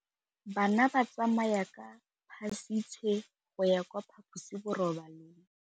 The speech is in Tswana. Bana ba tsamaya ka phašitshe go ya kwa phaposiborobalong.